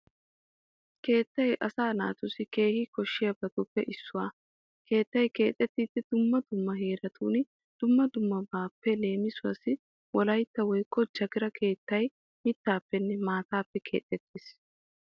Keettay asa naatussi kane koshshiyabatuppe issuwa. Keettay keexettiiddi dumma dumma heeratun dumma dummabaappe leemisuawu wolaytta woykko jagiira keettay mittaappenne maataappe keexettees.